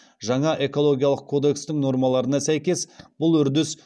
жаңа экологиялық кодекстің нормаларына сәйкес бұл үрдіс